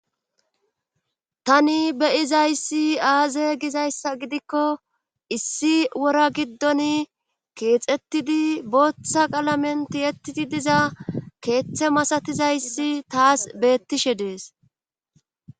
tani beyizayssi aaze gizayssa gidikko issi wora giddon keexettidi booththa qalamen tiyettidi diza keeththe masatizayssi taas beettishe dees.